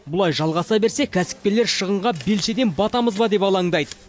бұлай жалғаса берсе кәсіпкерлер шығынға белшеден батамыз ба деп алаңдайды